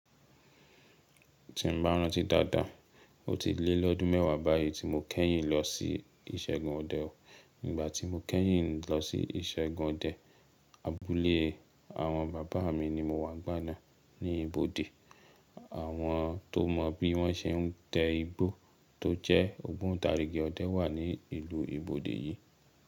Tí n bá rántí dáadáa, ó ti lé lọ́dún mẹ́wàá báyìí tí mo kẹ́yìn lọ sí ìṣẹ́gun ọdẹ o. Nígbà tí mo kẹ́yìn lọ sí ìṣẹ́gun ọdẹ, abúlé àwọn bàbá mi ni mo wá n'gbana ní ibode. Àwọn tó mọ bí wọ́n se n tẹ igbó tó jẹ́ ogbo n tarigi ọdẹ wà ní ìlú ibode yìí.